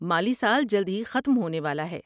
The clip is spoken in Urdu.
مالی سال جلد ہی ختم ہونے والا ہے۔